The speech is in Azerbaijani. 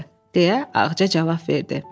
deyə Ağca cavab verdi.